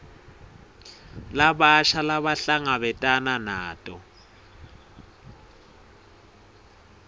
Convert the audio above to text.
labasha labahlangabetana nato